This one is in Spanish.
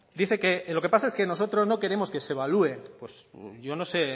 dice que lo que pasa es que nosotros no queremos que se evalúe yo no sé el